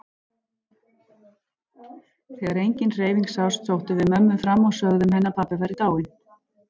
Þegar engin hreyfing sást sóttum við mömmu fram og sögðum henni að pabbi væri dáinn.